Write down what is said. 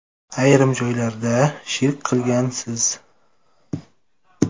Ayrim joylarda shirk qilgansiz.